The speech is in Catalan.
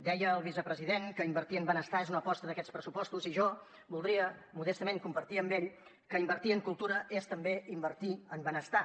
deia el vicepresident que invertir en benestar és una aposta d’aquests pressupostos i jo voldria modestament compartir amb ell que invertir en cultura és també invertir en benestar